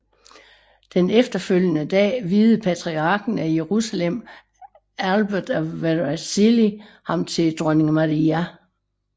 Den efterfølgende dag viede patriarken af Jerusalem Albert af Vercelli ham til dronning Maria